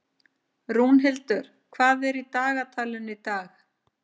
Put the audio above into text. Rúnhildur, hvað er í dagatalinu í dag?